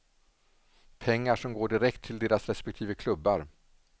Pengar som går direkt till deras respektive klubbar.